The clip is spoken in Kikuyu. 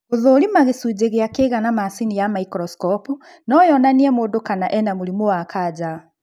Gũthũrima gĩcunji gĩa kĩga na macini ya microscope no yonanie mũndũ kana ena mũrimũ wa kanja